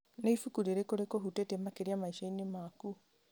Nĩ ibuku rĩrĩkũ rĩkũhutĩtie makĩria maicani maku?